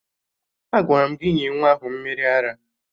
Agwara m gị nye nwa ahụ mmiri ara!